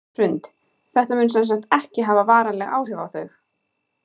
Hrund: Þetta mun sem sagt ekki hafa varanleg áhrif á þau?